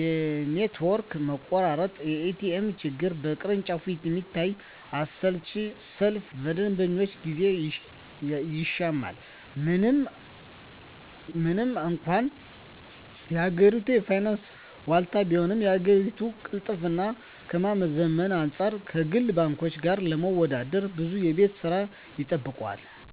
የኔትወርክ መቆራረጥ፣ የኤቲኤም ችግርና በቅርንጫፎች የሚታየው አሰልቺ ሰልፍ የደንበኞችን ጊዜ ይሻማል። ምንም እንኳን የሀገሪቱ የፋይናንስ ዋልታ ቢሆንም፣ የአገልግሎት ቅልጥፍናን ከማዘመን አንፃር ከግል ባንኮች ጋር ለመወዳደር ብዙ የቤት ሥራ ይጠብቀዋል።